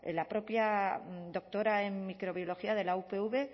la propia doctora en microbiología de la upv